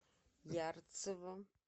ярцево